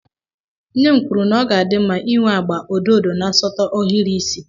Nne m kwuru na ọ ga-adị mma ịnwe agba odo ọdo na nsọtụ ohiri isi